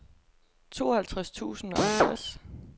tooghalvtreds tusind og halvtreds